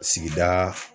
Sigida